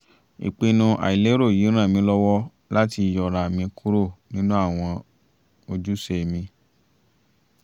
ìpinnu àìlérò yìí ràn mí lọ́wọ́ láti yọra mi kúrò nínú àwọn ojúṣe mi